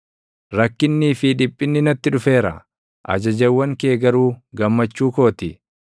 Rakkinnii fi dhiphinni natti dhufeera; ajajawwan kee garuu gammachuu koo ti.